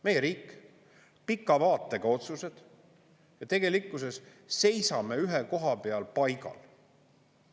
Meie riik, pika vaatega otsused ja tegelikkuses seisame ühe koha peal paigal.